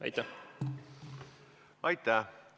Aitäh!